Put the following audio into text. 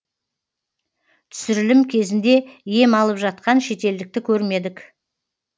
түсірілім кезінде ем алып жатқан шетелдікті көрмедік